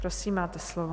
Prosím, máte slovo.